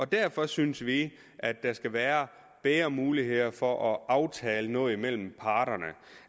derfor synes vi at der skal være bedre muligheder for at aftale noget mellem parterne